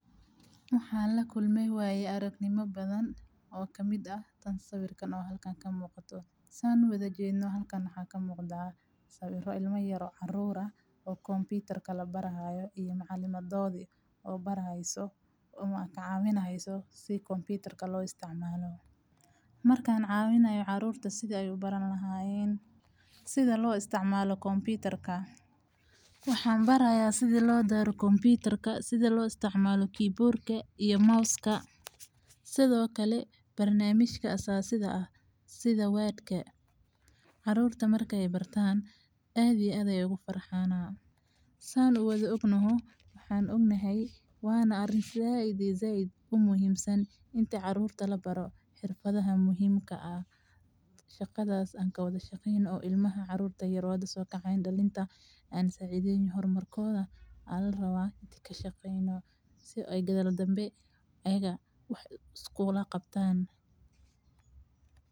Hawaan la kulmay waayey aragnimo badan oo ka mid ah, tan sawirkan oo halkaan ka muuqatood. Saan u wada jeedinoo halkaan xaa ka muuqdaa, sawiro ilmo yaroo carruur ah, oo computer ka la barahaayo, iyo macalimadoodi oo barahayso, um, ka caawinahayso sii computer ka loo isticmaalo. Markaan caawinayo caruurta siday u baran lahaayeen, sida loo isticmaalo computer ka. Waxaan baraya siday loo daaro computer ka, sida loo isticmaalo keyboard ke iyo mouse ka, sidoo kale barnaamijka asasida ah, sida word ke. Caruurta markay bartaan aadiyaday ugu farxaanaa. Saan u wada ognaho, waxaan ognahay waana arintaa zaid iyo zaid uu muhiimsan inta caruurta la baro xirfadaha muhiimka ah. Shaqadaas aan ka wada shaqeyno ilmaha caruurta yeroo hadda soo kacay dalinta aan saacideen horumarkooda aad la raba idinku shaqeyno si ay gadar danbe ayaga wax iskuula qabtaan.